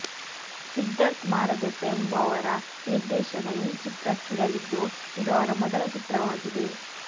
ಸಿದ್ಧಾರ್ಥ್ ಮಾರದೆಪ್ಪ ಎಂಬುವವರ ನಿರ್ದೇಶನ ಈ ಚಿತ್ರಕ್ಕಿರಲಿದ್ದು ಇದು ಅವರ ಮೊದಲ ಚಿತ್ರವಾಗಿದೆ